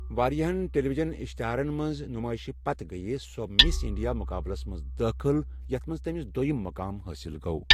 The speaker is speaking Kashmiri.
واریاہن ٹیلی وجن اِشتِہارن منٛز نُمٲیشہِ پتہٕ گٔیہ سۄ مِس انڈیا مقابلس منٛز دٲخل یتھ منٛز تٔمِس دوٚیم مقام حٲصل گوٚو۔